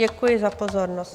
Děkuji za pozornost.